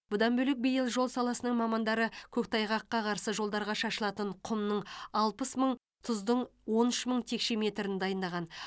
бұдан бөлек биыл жол саласының мамандары көктайғаққа қарсы жолдарға шашылатын құмның алпыс мың тұздың он үш мың текше метрін дайындаған